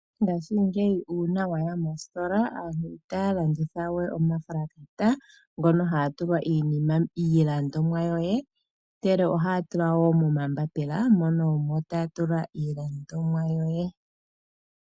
Ngaashingeyi uuna waya mostila aantu itaya landithawe omapulasitika ngono haga tulwa iilandomwa yoye ndele ohaya tula wo momambapila mono omo taya tula iilandomwa yoye.